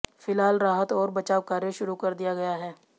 फिलहाल राहत और बचाव कार्य शुरू कर दिया गया है